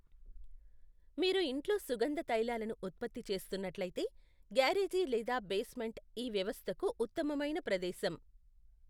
మీరు ఇంట్లో సుగంధ తైలాలను ఉత్పత్తి చేస్తున్నట్లయితే, గ్యారేజీ లేదా బేస్మెంట్ ఈ వ్యవస్థకు ఉత్తమమైన ప్రదేశం.